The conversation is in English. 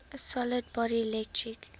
solid body electric